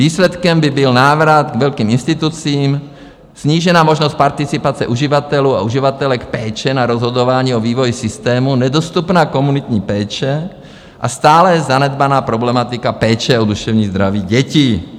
Výsledkem by byl návrat k velkým institucím, snížená možnost participace uživatelů a uživatelek péče na rozhodování o vývoj systému, nedostupná komunitní péče a stále zanedbaná problematika péče o duševní zdraví dětí."